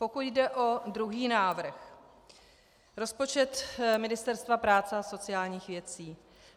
Pokud jde o druhý návrh, rozpočet Ministerstva práce a sociálních věcí.